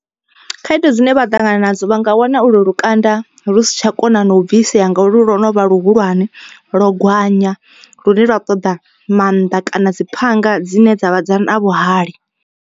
Khaedu dzine vha ṱangana nadzo vha nga wana u lwo lukanda lu si tsha kona na u bvisea ngauri lwo no vha luhulwane. Lwo gwanya lune lwa ṱoḓa mannḓa kana dzi phanga dzine dzavha na vhuhali.